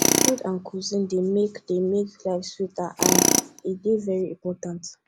food and cuisine dey make dey make life sweeter and e dey very important